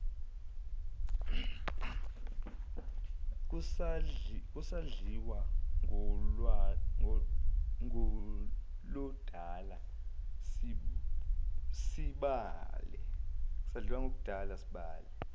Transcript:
kusadliwa ngoludala sibale